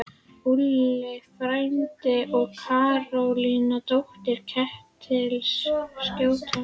Úlli frændi og Karólína, dóttir Ketils skólastjóra!